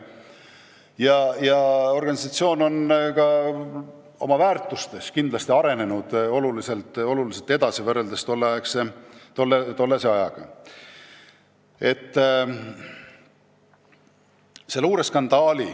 Nüüdseks on organisatsioon ka oma väärtusi määratledes kindlasti kõvasti edasi arenenud.